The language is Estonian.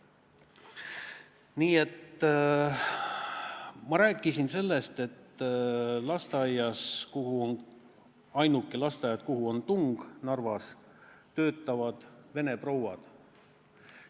Ma rääkisin sellest, et lasteaias, kuhu Narvas on ainsana tung, töötavad vene prouad.